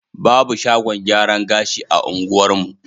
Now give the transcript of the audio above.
Babu shagon gyaran gashi a unguwarmu.